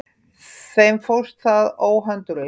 Þeim fórst það óhönduglega.